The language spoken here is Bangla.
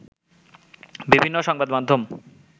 বিভিন্ন সংবাদ মাধ্যম